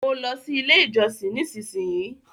mọ ló sì ilé ìjósìn! nísìsiyìí.